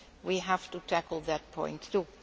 sooner we will have to tackle that point,